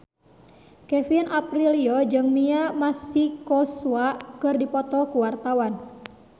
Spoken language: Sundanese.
Kevin Aprilio jeung Mia Masikowska keur dipoto ku wartawan